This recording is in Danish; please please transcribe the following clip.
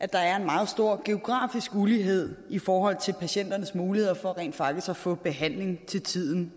der er en meget stor geografisk ulighed i i forhold til patienternes muligheder for rent faktisk at få behandling til tiden